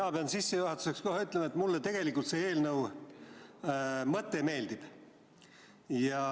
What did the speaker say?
Mina pean sissejuhatuseks kohe ütlema, et mulle selle eelnõu mõte meeldib.